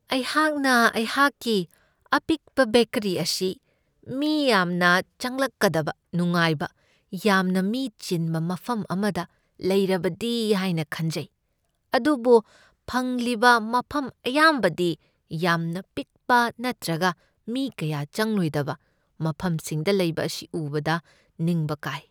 ꯑꯩꯍꯥꯛꯅ ꯑꯩꯍꯥꯛꯀꯤ ꯑꯄꯤꯛꯄ ꯕꯦꯀꯔꯤ ꯑꯁꯤ ꯃꯤ ꯌꯥꯝꯅ ꯆꯪꯂꯛꯀꯗꯕ ꯅꯨꯡꯉꯥꯏꯕ, ꯌꯥꯝꯅ ꯃꯤ ꯆꯤꯟꯕ ꯃꯐꯝ ꯑꯃꯗ ꯂꯩꯔꯕꯗꯤ ꯍꯥꯏꯅ ꯈꯟꯖꯩ, ꯑꯗꯨꯕꯨ ꯐꯪꯂꯤꯕ ꯃꯐꯝ ꯑꯌꯥꯝꯕꯗꯤ ꯌꯥꯝꯅ ꯄꯤꯛꯄ ꯅꯠꯇ꯭ꯔꯒ ꯃꯤ ꯀꯌꯥ ꯆꯪꯂꯣꯏꯗꯕ ꯃꯐꯝꯁꯤꯡꯗ ꯂꯩꯕ ꯑꯁꯤ ꯎꯕꯗ ꯅꯤꯡꯕ ꯀꯥꯏ ꯫